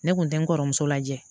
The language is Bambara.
Ne kun tɛ n kɔrɔmuso lajɛ